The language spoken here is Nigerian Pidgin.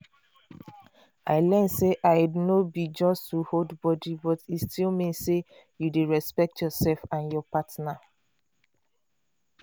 i learn say iud no be just to hold body but e still mean say you dey respect yourself and your partner.